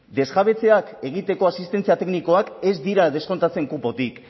desjabetzeak egiteko asistentzia teknikoak ez dira deskontatzen kupotik